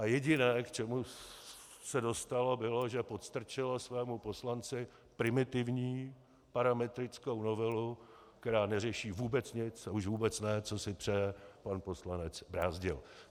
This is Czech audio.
A jediné, k čemu se dostalo, bylo, že podstrčilo svému poslanci primitivní parametrickou novelu, která neřeší vůbec nic, a už vůbec ne, co si přeje pan poslanec Brázdil.